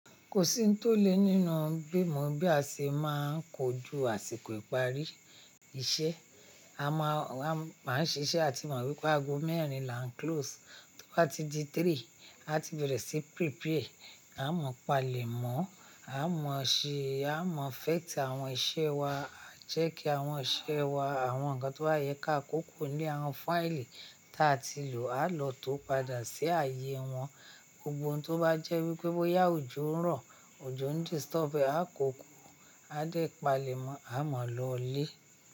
Kò sí ohun tó le nínú bí mo, bí a ṣe máa ń kojú àsìkò ìparí iṣẹ́. A máa ń ṣiṣẹ́, a ti mọ̀ wípé aago mẹ́rin là ń close. Tó bá ti di ẹ̀ta, a ti bẹ̀rẹ̀ sí prepare. A mọ̀ palẹ̀ mọ́, a mọ̀ ṣe, a mọ̀ effect àwọn iṣẹ́ wa, a jẹ́ kí àwọn iṣẹ́ wa, àwọn nǹkan tó bá yẹ ká kókó ní àwọn fáìlì tí a ti lò, a lọ tó padà sí ààyè wọn. Gbogbo ohun tó bá jẹ́ wípé bóyá òjò ń rọ̀, òjò ń disturb ẹ, a kó kuró, a dẹ̀ palẹ̀ mọ́, a mọ̀ lọlé.